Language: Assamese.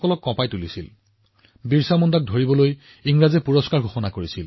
যাৰ পিছত ব্ৰিটিছে ভগৱান বিৰচা মুণ্ডাৰ ওপৰত এটা বৃহৎ পুৰস্কাৰ দিছিল